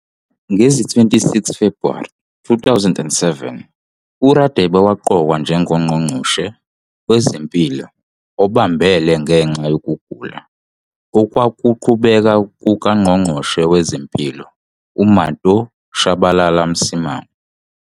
Ngo-26 Febhuwari 2007, uRadebe waqokwa njengoNgqongqoshe WezeMpilo obambele ngenxa yokugula okwakuqhubeka kukaNgqongqoshe wezeMpilo uManto Tshabalala-Msimang.